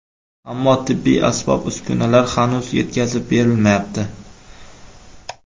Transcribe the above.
Ammo tibbiy asbob-uskunalar hanuz yetkazib berilmayapti.